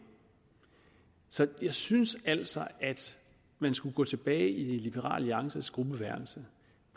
så jeg synes altså at man skulle gå tilbage i liberal alliances gruppeværelse